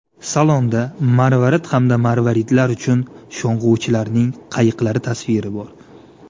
Salonda marvarid hamda marvaridlar uchun sho‘ng‘uvchilarning qayiqlari tasviri bor.